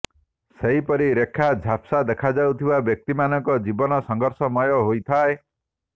ସେହିପରି ରେଖା ଝାପ୍ସା ଦେଖାଯାଊଥିବା ବ୍ୟକ୍ତିମାନଙ୍କ ଜୀବନ ସଂଘର୍ଷମୟ ହୋଇଥାଏ